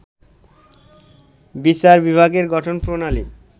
বিচার বিভাগের গঠন প্রণালী